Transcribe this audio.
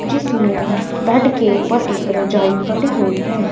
जिसमें बेड के ऊपर एक रजाई पड़ी हुई है।